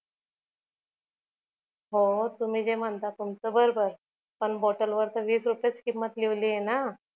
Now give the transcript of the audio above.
हो तुम्ही जे म्हणता ते बरोबर पण बॉटल वर तर वीस रुपयाच किंमत लिहीवली ना